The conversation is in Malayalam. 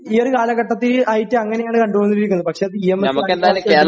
ഈയൊരു കാലഘട്ടത്തിൽ ആയിട്ട് അങ്ങനെയാണ് കണ്ടുകൊണ്ടിരിക്കുന്നത് പക്ഷേ അത് ഇഎംഎസ്